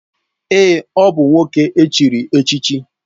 Èè, ọ bụ nwoke e chiri echichi.